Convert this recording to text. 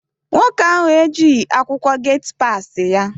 Nwoke ahụ ejighị akwụkwọ geti passi ya.